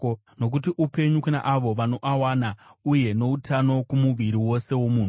nokuti upenyu kuna avo vanoawana uye noutano kumuviri wose womunhu.